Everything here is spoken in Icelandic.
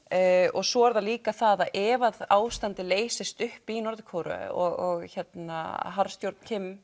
og svo er það líka það að ef ástandið leysist upp í Norður Kóreu og harðstjórn